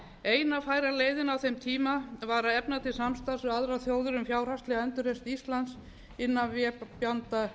eina færa leiðin á þeim tíma var að efna til samstarfs við aðrar þjóðir um fjárhagslega endurreisn íslands innan vébanda alþjóðagjaldeyrissjóðsins